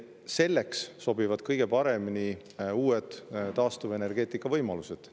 Selleks sobivad kõige paremini uued taastuvenergeetikavõimalused.